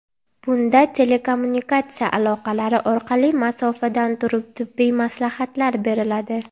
Bunda telekommunikatsiya aloqalari orqali masofadan turib tibbiy maslahatlar beriladi.